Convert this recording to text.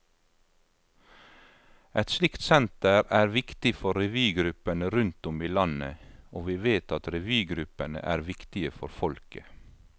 Et slikt senter er viktig for revygruppene rundt om i landet, og vi vet at revygruppene er viktige for folket.